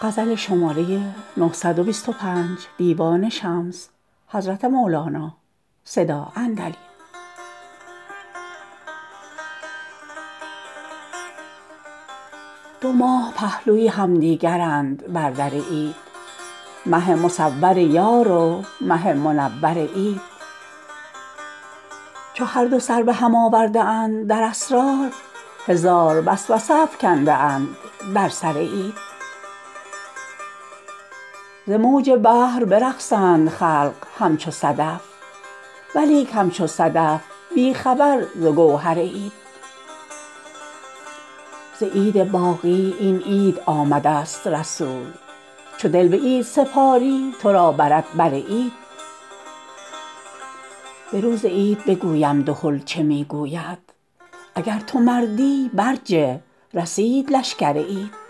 دو ماه پهلوی همدیگرند بر در عید مه مصور یار و مه منور عید چو هر دو سر به هم آورده اند در اسرار هزار وسوسه افکنده اند در سر عید ز موج بحر برقصند خلق همچو صدف ولیک همچو صدف بی خبر ز گوهر عید ز عید باقی این عید آمده ست رسول چو دل به عید سپاری تو را برد بر عید به روز عید بگویم دهل چه می گوید اگر تو مردی برجه رسید لشکر عید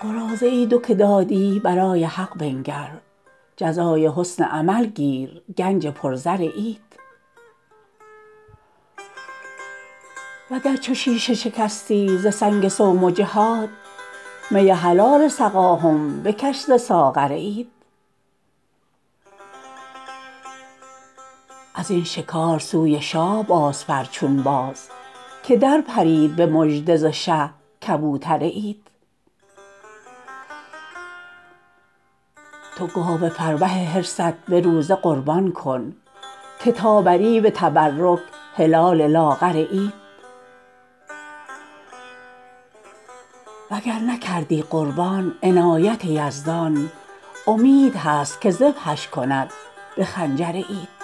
قراضه دو که دادی برای حق بنگر جزای حسن عمل گیر گنج پرزر عید وگر چو شیشه شکستی ز سنگ صوم و جهاد می حلال سقا هم بکش ز ساغر عید از این شکار سوی شاه بازپر چون باز که درپرید به مژده ز شه کبوتر عید تو گاو فربه حرصت به روزه قربان کن که تا بری به تبرک هلال لاغر عید وگر نکردی قربان عنایت یزدان امید هست که ذبحش کند به خنجر عید